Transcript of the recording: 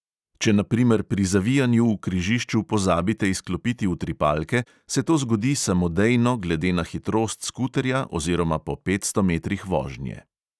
Če na primer pri zavijanju v križišču pozabite izklopiti utripalke, se to zgodi samodejno glede na hitrost skuterja oziroma po petsto metrih vožnje.